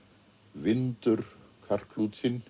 vindur